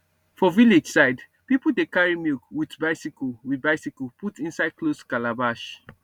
for village side people dey carry milk with bicycle with bicycle put inside closed calabash